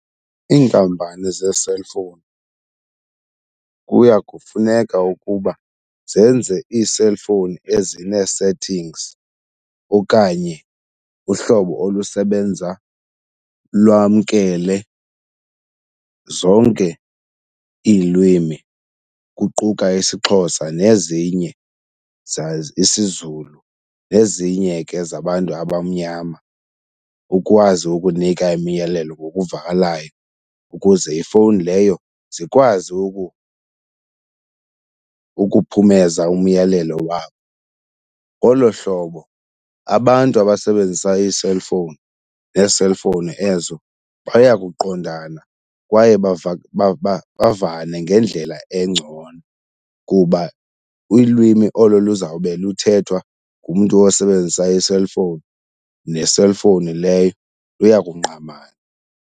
Iinkampani zee-cellphone kuya kufuneka ukuba zenze ii-cellphone ezine settings okanye uhlobo olusebenza lwamkele zonke iilwimi kuquka isiXhosa nezinye isiZulu nezinye ke zabantu abamnyama ukwazi ukunika imiyalelo ngokuvakalayo. Ukuze ifowuni leyo zikwazi ukuphumeza umyalelo wabo. Ngolo hlobo abantu abasebenzisa ii-cellphone nee-cellphone ezo, baya kuqondana kwaye bavane ngendlela engcono kuba ilwimi olo luzawube luthethwa ngumntu osebenzisa i-cellphone ne-cellphone leyo luya kungqamana.